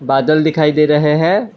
बादल दिखाई दे रहे हैं।